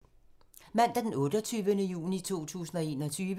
Mandag d. 28. juni 2021